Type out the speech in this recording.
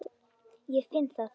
Ég finn það.